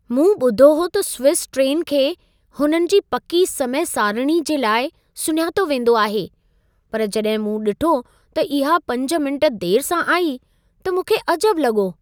मूं ॿुधो हो त स्विज़ ट्रेन खे हुननि जे पकी समय-सारिणी जे लाइ सुञातो वेंदो आहे। पर जॾहिं मूं ॾिठो त इहा 5 मिंट देर सां आई, त मूंखे अजबु लॻो।